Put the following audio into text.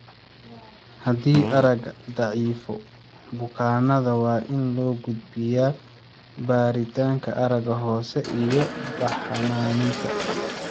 Haddii aragga daciifo, bukaanada waa in loo gudbiyaa baaritaanka aragga hoose iyo baxnaaninta.